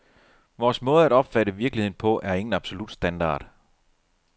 Vores måde at opfatte virkeligheden på er ingen absolut standard.